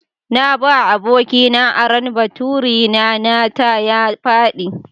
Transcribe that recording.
Na ba abokina aron baturi na, nata ya faɗi.